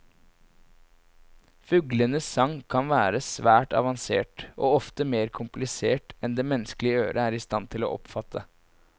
Fuglenes sang kan være svært avansert, og ofte mer komplisert enn det menneskelige øre er i stand til å oppfatte.